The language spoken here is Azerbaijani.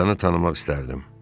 Atanı tanımaq istərdim.